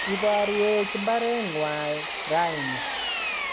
ibarwech mbarengwai raini